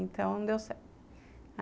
Então, não deu certo.